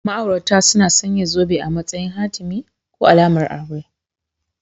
Ma'aurata suna sanya zobe a matsayin hatimi / alamar aure